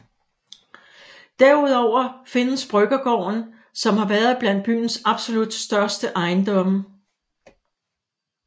Derudover findes Bryggergården som har været blandt byens absolut største ejendomme